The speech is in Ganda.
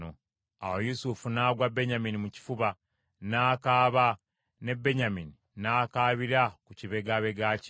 Awo Yusufu n’agwa Benyamini mu kifuba n’akaaba ne Benyamini n’akaabira ku kibegabega kye.